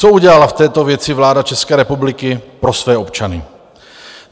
Co udělala v této věci vláda České republiky pro své občany?